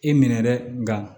I minɛ dɛ nka